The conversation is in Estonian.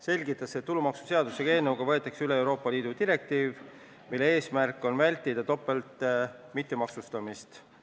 Selgitas, et tulumaksuseaduse selle eelnõuga võetakse üle Euroopa Liidu direktiiv, mille eesmärk on vältida topeltmittemaksustamist.